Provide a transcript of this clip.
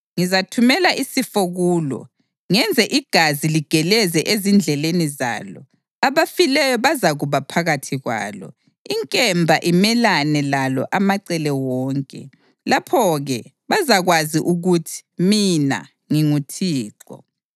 Ngizathumela isifo kulo, ngenze igazi ligeleze ezindleleni zalo. Abafileyo bazakuba phakathi kwalo, inkemba imelane lalo amacele wonke. Lapho-ke bazakwazi ukuthi mina nginguThixo.